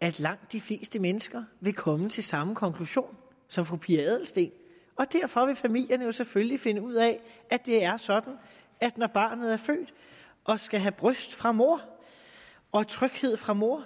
at langt de fleste mennesker vil komme til samme konklusion som fru pia adelsteen og derfor vil familierne jo selvfølgelig finde ud af at det er sådan at når barnet er født og skal have bryst fra mor og tryghed fra mor